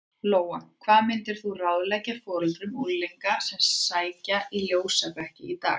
Lóa: Hvað myndir þú ráðleggja foreldrum unglinga sem að sækja í ljósabekki í dag?